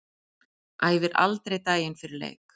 Æfir aldrei daginn fyrir leik.